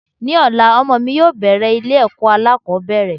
Ní ọ̀la, ọmọ mi yóò bẹ̀rẹ̀ ilé ẹ̀kọ́ alákòbẹ̀rẹ̀.